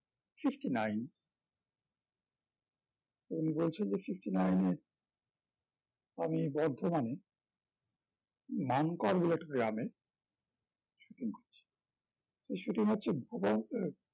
fifty-nine তো উনি বলছেন যে fifty-nine এ আমি বর্ধমানে মানুকাবিরাট গ্রামে shooting করছি সেই shooting হচ্ছে ভুবন আহ